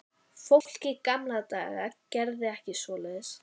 Fólk í gamla daga gerði ekki svoleiðis.